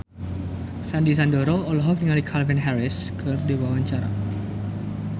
Sandy Sandoro olohok ningali Calvin Harris keur diwawancara